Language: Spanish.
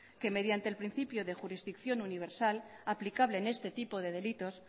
que mediante el principio de jurisdicción universal aplicable en este tipo de delitos